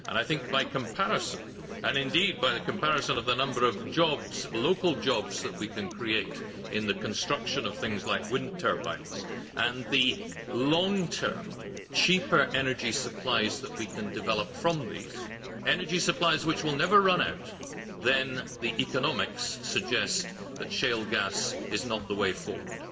I think by comparison and, indeed, by the comparison of the number of jobs local jobs that we can create in the construction of things like wind turbines and the long term, cheaper energy supplies that we can develop from these energy supplies which will never run out then the economics suggest that shale gas is not the way forward.